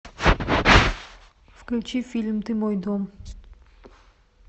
включи фильм ты мой дом